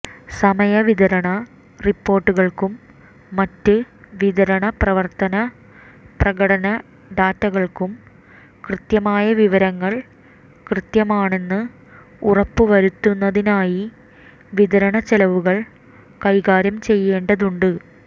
സമയ വിതരണ റിപ്പോർട്ടുകൾക്കും മറ്റ് വിതരണ പ്രവർത്തന പ്രകടന ഡാറ്റകൾക്കും കൃത്യമായ വിവരങ്ങൾ കൃത്യമാണെന്ന് ഉറപ്പുവരുത്തുന്നതിനായി വിതരണച്ചെലവുകൾ കൈകാര്യം ചെയ്യേണ്ടതുണ്ട്